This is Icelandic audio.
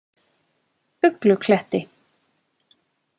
Uglukletti